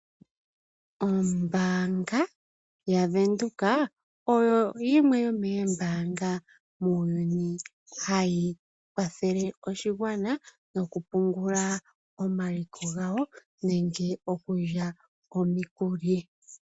Oombanya yaVenduka oyo yimwe yomoombanga muuyuni hayi kwathele oshigwana nokupungula omaliko gawo nenge okulya omikuli.